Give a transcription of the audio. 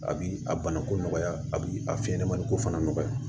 A bi a banako nɔgɔya a bi a fiɲɛmani ko fana nɔgɔya